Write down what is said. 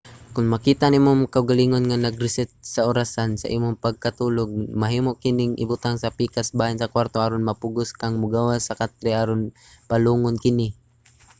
kon makita nimo ang imong kaugalingon nga nag-reset sa orasan sa imong pagkatulog mahimo kining ibutang sa pikas bahin sa kwarto aron mapugos kang mogawas sa katre aron palungon kini